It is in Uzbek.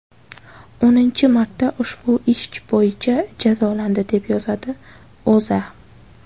o‘ninchi marta ushbu ish bo‘yicha jazolandi, deb yozadi O‘zA.